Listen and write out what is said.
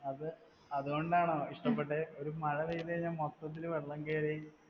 അത് അതുകൊണ്ടാണോ ഇഷ്ടപെട്ടത്? ഒരു മഴ പെയ്‌തു കഴിഞ്ഞാൽ മൊത്തത്തില് വെള്ളം കേറി